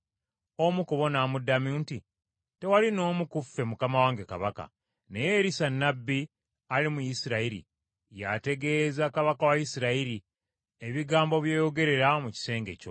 Omu ku bo n’amuddamu nti, “Tewali n’omu ku ffe mukama wange kabaka, naye Erisa nnabbi ali mu Isirayiri, y’ategeeza kabaka wa Isirayiri, ebigambo by’oyogerera mu kisenge kyo.”